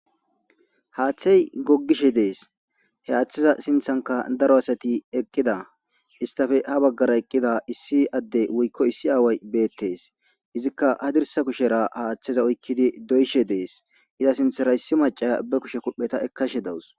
Haaththey googishe dees he haaththeza sinththankka daro asati eeqida istappe ha baggara eqqida issi addey woykko issi aaway beettes izikka hadirssa kushshera haaththeza oykidi doyishe des iza sinththara issi maccaya kuphpheta eekashe dawus